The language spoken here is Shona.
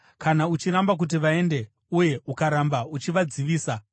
Kana uchiramba kuti vaende uye ukaramba uchivadzivisa,